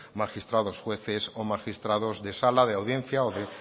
magistrados jueces o magistrados de sala de audiencia o de